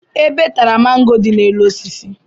Ebe tara mango dị n'elu osisi